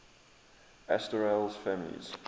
asterales families